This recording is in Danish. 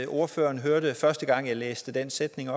ordføreren hørte første gang jeg læste den sætning